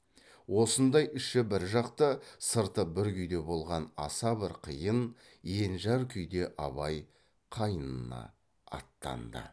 осындай іші бір жақта сырты бір күйде болған аса бір қиын енжар күйде абай қайнына аттанды